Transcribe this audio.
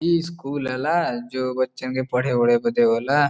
ई स्कूल हला जो बच्चन के पढ़े ओढे बदे होला।